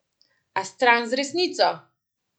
A stran z resnico!